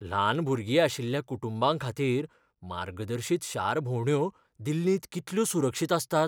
ल्हान भुरगीं आशिल्ल्या कुटुंबांखातीर मार्गदर्शीत शार भोंवड्यो दिल्लींत कितल्यो सुरक्षीत आसतात?